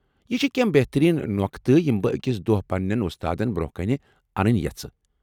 یم چھ کینٛہہ بہتٔریٖن نۄقطہٕ یم بہٕ اکہ دۄہ پننٮ۪ن وۄستادن برٛۄنٛہہ کَنہِ انٕنۍ یژھہٕ ۔